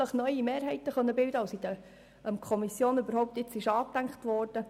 Vielleicht können sich neue Mehrheiten bilden, wie sie in der Kommission nicht angedacht wurden.